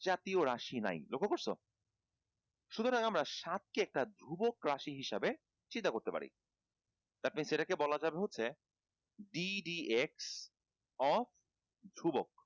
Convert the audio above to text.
জাতীয় রাশি নাই লক্ষ্য করছো সুতরাং আমরা সাতকে একটা ধ্রুবক রাশি হিসাবে চিন্তা করতে পারি that means এটাকে বলা যাবে হচ্ছে d dx of ধ্রুবক